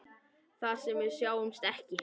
Þar sem við sjáumst ekki.